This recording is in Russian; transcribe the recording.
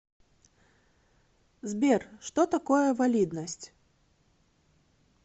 сбер что такое валидность